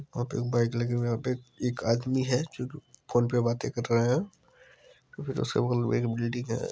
वहां पे एक बाइक लगी हुई है एक आदमी है जो फोन पे बाते कर रहे है।